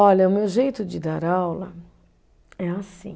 Olha, o meu jeito de dar aula é assim.